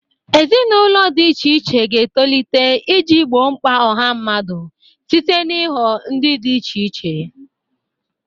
Ezinụlọ di iche iche ga-etolite iji gboo mkpa ọha mmadụ site n'ịghọ ndị dị iche iche.